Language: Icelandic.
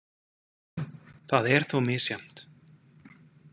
Það er þó misjafnt.